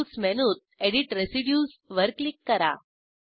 tools मेनूत edit residuesवर click करा